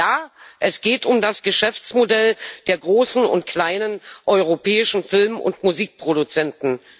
Ja, es geht um das Geschäftsmodell der großen und kleinen europäischen Film und Musikproduzenten.